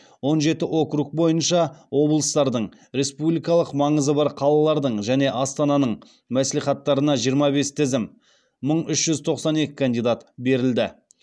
он жеті округ бойынша облыстардың республикалық маңызы бар қалалардың және астананың мәслихаттарына жиырма бес тізім берілді